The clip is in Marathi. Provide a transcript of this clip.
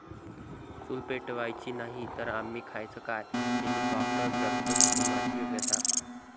चूल पेटवायची नाही, तर आम्ही खायचं काय?' हेलिकाॅप्टरग्रस्त कुटुंबाची व्यथा